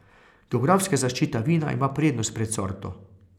Geografska zaščita vina ima prednost pred sorto.